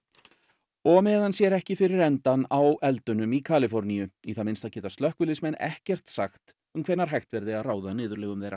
og á meðan sér ekki fyrir endann á eldunum í Kaliforníu í það minnsta geta slökkviliðsmenn ekkert sagt um hvenær hægt verði að ráða niðurlögum þeirra